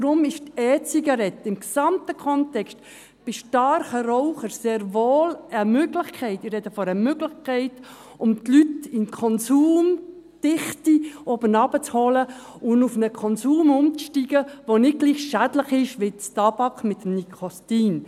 Deshalb ist die E-Zigarette im gesamten Kontext bei starken Rauchern sehr wohl eine Möglichkeit – ich spreche von einer Möglichkeit –, um die Leute von der Konsumdichte herunterzuholen, sodass sie auf einen Konsum umsteigen, der nicht gleichermassen schädlich ist wie Tabak mit Nikotin.